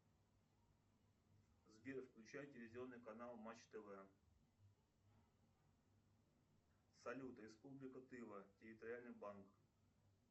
сбер включай телевизионный канал матч тв салют республика тыва территориальный банк